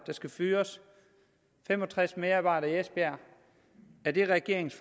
så skal fyres fem og tres medarbejdere i esbjerg er det regeringens